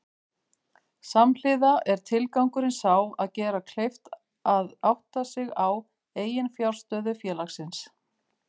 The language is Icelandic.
Samhliða er tilgangurinn sá að gera kleift að átta sig á eiginfjárstöðu félagsins.